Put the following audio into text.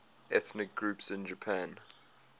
ethnic groups in japan